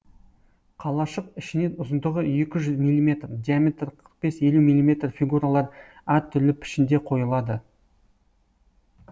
қалашық ішіне ұзындығы екі жүз миллиметр диаметрі қырық бес елу миллиметр фигуралар әр түрлі пішінде қойылады